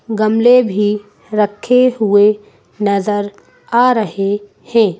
गमले भी रखे हुए नज़र आ रहे हैं।